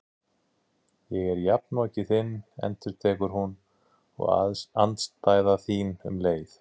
Ég er jafnoki þinn endurtekur hún, og andstæða þín um leið.